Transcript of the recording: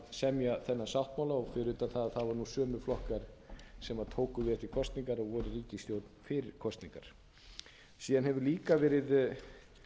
semja þennan sáttmála fyrir utan það að það voru sömu flokkar sem tóku við eftir kosningar og voru í ríkisstjórn fyrir kosningar síðan hefur líka verið nokkuð